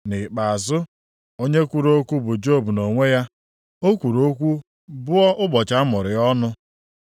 Nʼikpeazụ, onye kwuru okwu bụ Job nʼonwe ya. O kwuru okwu bụọ ụbọchị a mụrụ ya ọnụ.